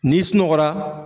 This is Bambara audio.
Ni sunɔgɔla.